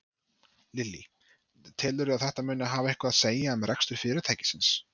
Lillý: Telurðu að þetta muni hafa eitthvað að segja um rekstur fyrirtækisins?